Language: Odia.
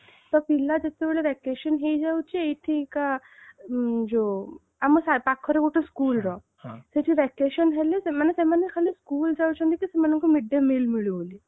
ତ ପିଲା ଯେତେବେଳେ vacation ହେଇଯାଉଛି ଏଇଠି କା ଯୋଉ ଆମ ପାଖର ଗୋଟେ schoolର ସେଠି vacation ହେଲେ ସେମାନେ ସେମାନେ ଖାଲି school ଯାଉଛନ୍ତି କି ସେମନଙ୍କୁ mid day meal ମିଳୁ ବୋଲି